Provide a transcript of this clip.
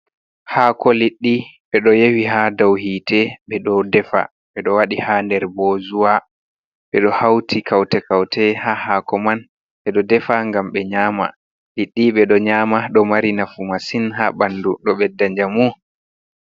Haako liɗɗi, ɓe ɗo yowi haa dow hiite, ɓe ɗo defa, ɓe ɗo waɗi haa nder boozuwa, ɓe ɗo hauti kaute-kaute ha haako man. Ɓe ɗo defa ngam ɓe nyaama, liɗɗi ɓe ɗo nyaama, ɗo mari nafu masin haa ɓandu, ɗo ɓedda njamu.